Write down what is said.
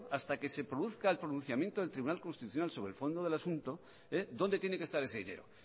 hasta que se produzca el pronunciamiento del tribunal constitucional sobre el fondo del asunto dónde tiene que estar ese dinero